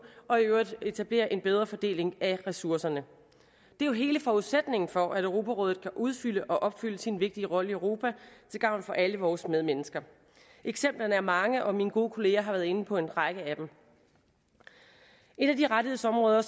og i øvrigt etableret en bedre fordeling af ressourcerne det er jo hele forudsætningen for at europarådet kan udfylde og opfylde sin vigtige rolle i europa til gavn for alle vores medmennesker eksemplerne er mange og mine gode kollegaer har været inde på en række af dem et af de rettighedsområder